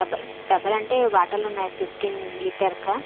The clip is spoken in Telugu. డబ్బ-- డబ్బల్ అంటే బాటిల్ లు ఉన్నాయి ఫిఫ్టీన్ లీటర్ క--